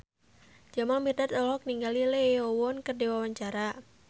Jamal Mirdad olohok ningali Lee Yo Won keur diwawancara